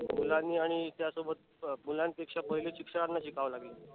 मुलांनी आणि त्यासोबत मुलानपेक्षा पहिलं शिक्षकांना शिकाव लागल.